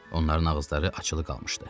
Onların ağızları açılı qalmışdı.